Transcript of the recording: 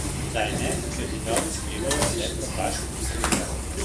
Zdaj ne, ker zidovi skrivajo le propad, razsulo.